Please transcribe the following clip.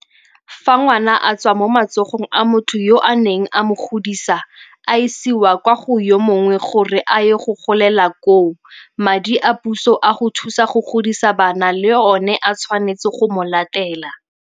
Fa ngwana a tswa mo matsogong a motho yo a neng a mo godisa a isiwa kwa go yo mongwe gore a yo golela koo, madi a puso a go thusa go godisa bana le ona a tshwanetse go mo latela.